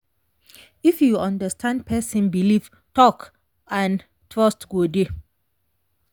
if you understand person belief talk and trust go dey.